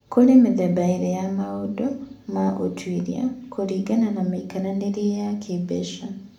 Kũrĩ mĩthemba ĩĩrĩ ya maũndũ ma ũtuĩria kũringana na mĩikaranĩrie ya kĩĩmbeca.